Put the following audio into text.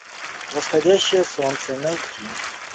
восходящее солнце найти